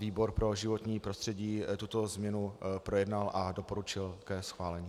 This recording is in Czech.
Výbor pro životní prostředí tuto změnu projednal a doporučil ke schválení.